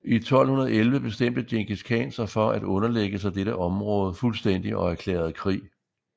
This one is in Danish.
I 1211 bestemte Djengis Khan sig for at underlægge sig dette området fuldstændig og erklærede krig